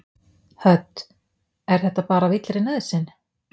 Hödd: Er þetta bara af illri nauðsyn?